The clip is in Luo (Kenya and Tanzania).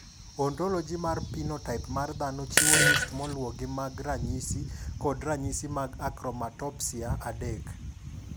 Ontoloji mar Pinotaip mar Dhano chiwo list maluwogi mag ranyisi kod ranyisi mag Akromatopsia 3.